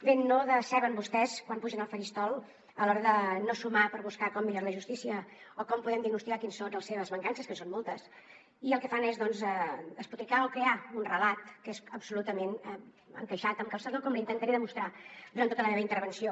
bé no deceben vostès quan pugen al faristol a l’hora de no sumar per buscar com millorar la justícia o com podem diagnosticar quines són les seves mancances que en són moltes i el que fan és doncs despotricar o crear un relat que és absolutament encaixat amb calçador com li intentaré demostrar durant tota la meva intervenció